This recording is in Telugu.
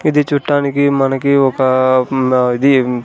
ఇది చూట్టానికి మనకి ఒకా ఆ ఇది--